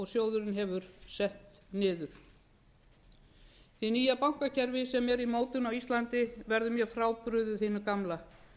sjóðurinn hefur sett niður hið nýja bankakerfi sem er í mótun á íslandi verður mjög frábrugðið hinu gamla